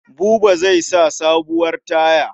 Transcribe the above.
Buba zai sa sabuwar taya.